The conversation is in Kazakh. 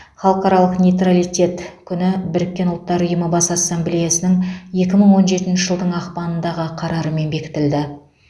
халықаралық нейтралитет күні біріккен ұлттар ұйымы бас ассамблеясының екі мың он жетінші жылдың ақпанындағы қарарымен бекітілді